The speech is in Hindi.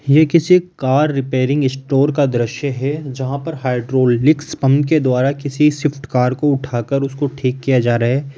ये किसी कार रिपेयरिंग स्टोर का दृश्य है जहां पर हाइड्रॉलिक्स पंप के द्वारा किसी स्विफ्ट कार को उठाकर उसको ठीक किया जा रहा है।